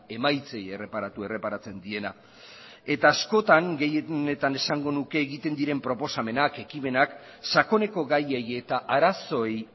emaitzei erreparatu erreparatzen diena eta askotan gehienetan esango nuke egiten diren proposamenak ekimenak sakoneko gaiei eta arazoei